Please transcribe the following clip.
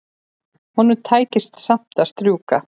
Honum tækist samt að strjúka.